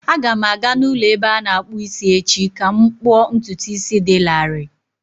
Aga m aga n'ụlọ ebe a na-akpụ isi echi ka m kpụọ ntutu isi dị larịị.